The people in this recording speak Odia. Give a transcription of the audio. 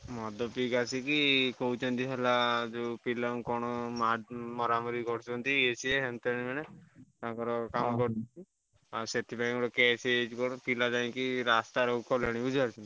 ମଦ ପିଇକି ଆସିକି କହୁଛନ୍ତି ହେଲା ଯୋଉ ପିଲା ଙ୍କୁ କଣ ମ~ ମରାମରି କରୁଛନ୍ତି ୟେ ସିଏ ଏମତି ଏଣେ ତେଣେ ଆଉ ସେଥିପାଇଁ ଗୋଟେ case ହେଇଛି କଣ ପିଲା ଯାଇକି ରାସ୍ତା ରୋକ କଲେଣି ବୁଝି ପାରୁଛ।